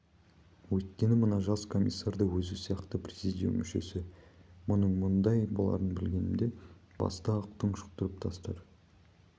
өйткені мына жас комиссар да өзі сияқты президиум мүшесі мұның мұндай боларын білгенімде баста-ақ тұншықтырып тастар